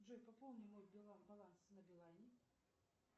джой пополни мой баланс на билайне